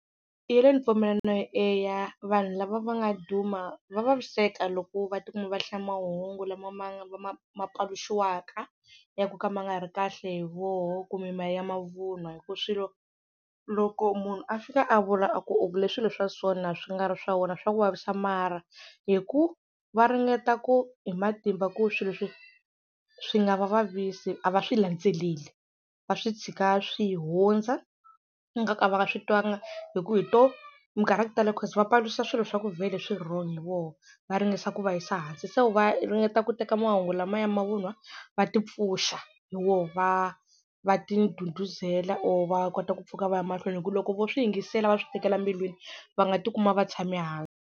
Yeleyo ni pfumelana na yo, eya vanhu lava va nga duma va vaviseka loko va tikuma va hlaya mahungu lama va ma ma paluxiwaka ya ku nga ma nga ri kahle hi voho kumbe ma ya mavunwa hi ku swilo loko munhu a fika a vula a ku u vule swilo swa sona swi nga ri swa wena swa ku vavisa mara hi ku va ringeta ku hi matimba ku swilo leswi swi nga va vavisi a va swi landzeleli va swi tshika swi hundza ngaku a va swi twanga hi ku hi to minkarhi ya ku tala cause va paluxa swilo swa ku vhele swi wrong hi vona va ringesa ku va yisa hansi se vo va ringeta ku teka mahungu lama ya mavunwa va tipfuxa hi wona va va ti ndhudhuzela or va kota ku pfuka va ya mahlweni hi ku loko vo swi yingisela va swi tekela mbilwini va nga tikuma va tshame hansi.